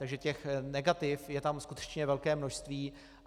Takže těch negativ je tam skutečně velké množství.